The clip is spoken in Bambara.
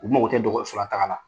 U mago tɛ dɔgɔtɔrɔso la taga la.